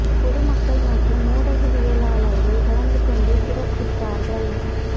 பொது மக்கள் மற்றும் ஊடகவியலாளர்கள் கலந்து கொண்டு சிறப்பித்தார்கள்